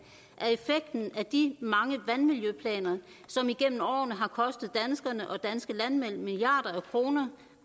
af effekten af de mange vandmiljøplaner som igennem årene har kostet danskerne og danske landmænd milliarder af kroner